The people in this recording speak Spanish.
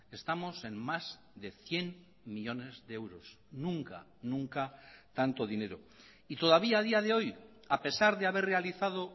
estamos en más de cien millónes de euros nunca nunca tanto dinero y todavía a día de hoy a pesar de haber realizado